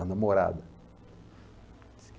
A namorada. Diz que